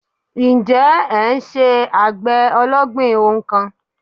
Ǹjẹ́ ẹ n se àgbè ológbìn ohun kan